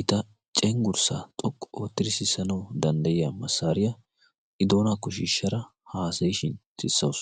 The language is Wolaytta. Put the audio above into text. ita cenggurssa xoqqu oottiri sissanau danddayiya massaariyaa i doonaakko shiishshara haasayishin sissawus.